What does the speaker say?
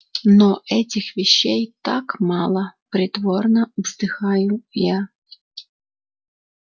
но этих вещей так мало притворно вздыхаю я